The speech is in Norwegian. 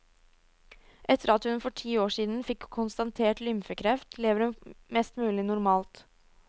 Etter at hun for ti år siden fikk konstatert lymfekreft, lever hun mest mulig normalt.